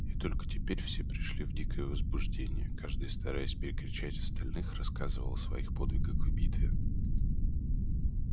и только теперь все пришли в дикое возбуждение каждый стараясь перекричать остальных рассказывал о своих подвигах в битве